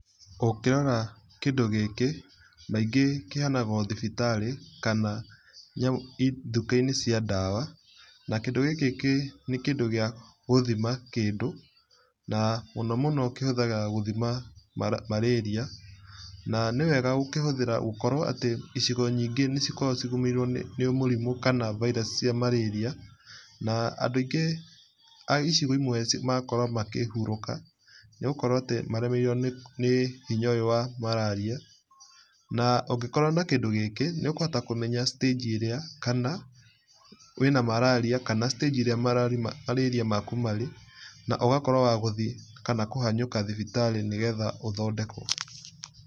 Ũngĩrora kĩndũ gĩkĩ kaingĩ kĩheanagwo thibitarĩ kana duka-inĩ cia dawa. Na kĩndũ gĩkĩ kĩndũ gĩkĩ nĩkĩndũ gĩa gũthima kĩndũ na mũnomũno kĩhũthagĩrwo gũthima marĩria na nĩwega gũkĩhũthĩra gũkorwo atĩ icigo nyingĩ nĩcikoragwo cigoneirwo nĩ mũrimũ kana virus cia marĩria na andũ aingĩ aicigo imwe magakorwo makĩhurũka nĩgũkorwo maremeirwo nĩ hinya ũyũ wa mararia. Na ũngĩkorwo na kĩndũ gĩkĩ nĩũkũhota kũmenya stage ĩrĩa kana wĩna mararia kana stage ĩrĩa mararia maku marĩ na ũgakorwo wa gũthiĩ kana kũhanyũka thibitarĩ nĩgetha ũthondekwo.